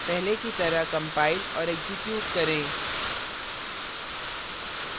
पहले की तरह compile और एक्जीक्यूट करें